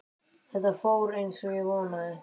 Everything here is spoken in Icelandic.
Þetta fór eins og ég vonaði